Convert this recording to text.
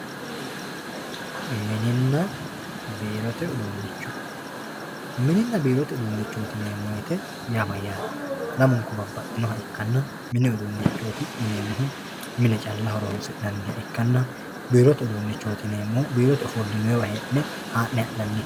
Mininna biirote uduuncho mininna biirote uduunchoti yineemmo woyte yaa mayyate lamunku babbaxxinoha ikkanna mini uduunchoti yineemmohu mine calla horonsi'neemmoha ikkanna biirote uduunchoti yineemmohu biirote ofollinonniwa hee'ne haa'ne